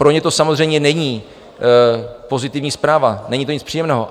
Pro ně to samozřejmě není pozitivní zpráva, není to nic příjemného.